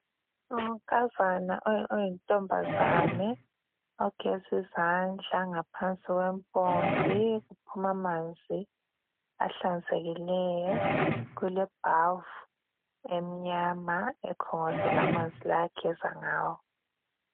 Unkazana oyintombazane Ogezi zandla ngaphansi kwempompi kuphuma manzi ahlanzekileyo .Kule bhavu emnyama ekhongozela manzi lawa ageza ngawo .